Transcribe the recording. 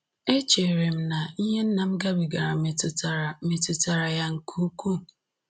Echere m na ihe nna m gabigara metụtara metụtara ya nke ukwuu